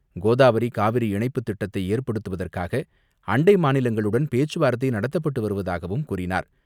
கோதாவரி காவிரி இணைப்புத் திட்டத்தை ஏற்படுத்து வதற்காக அண்டை மாநிலங்களுடன் பேச்சுவார்த்தை நடத்தப்பட்டு வருவதாகவும் கூறினார்.